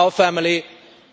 Our family